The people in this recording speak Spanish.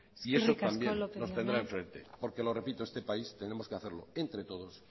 eskerrik asko lópez jauna y eso también nos tendrá en frente porque lo repito este país tenemos que hacerlo entre todos